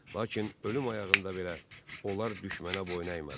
Lakin ölüm ayağında belə onlar düşmənə boyun əymədilər.